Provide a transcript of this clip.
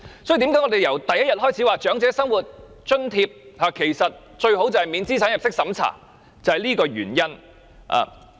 所以，為甚麼我們由第一天開始便說長者生活津貼最好免資產入息審查，便是這個原因。